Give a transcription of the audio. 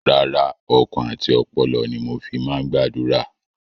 Rárá, ọkàn àti ọpọlọ ni mo fi máa ń gbàdúrà.